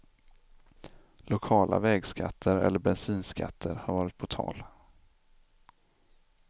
Lokala vägskatter eller bensinskatter har varit på tal.